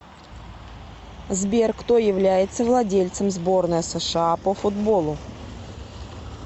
сбер кто является владельцем сборная сша по футболу